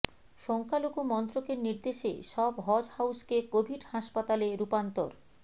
সংখ্যালঘু মন্ত্রকের নির্দেশে সব হজ হাউসকে কোভিড হাসপাতালে রূপান্তর